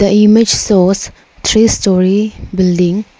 The image shows three storey building.